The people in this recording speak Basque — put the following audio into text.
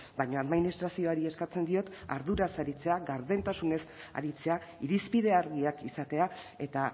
baina administrazioari eskatzen diot arduraz aritzea gardentasunez aritzea irizpide argiak izatea eta